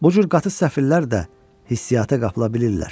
Bu cür qatı səfirlər də hissiata qapıla bilirlər.